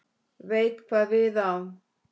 Veit hvað við á.